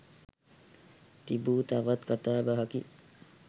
තිබූ තවත් කතාබහකි